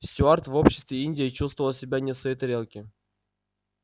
стюарт в обществе индии чувствовал себя не в своей тарелке